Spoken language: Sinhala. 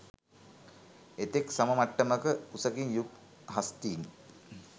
එතෙක් සම මට්ටමක උසකින් යුත් හස්තින්